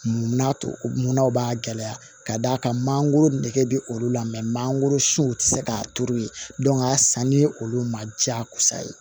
Mun na munnaw b'a gɛlɛya ka d'a kan mangoro nege bɛ olu la manankoro siw tɛ se k'a turu yen a sanni olu ma diyagosa ye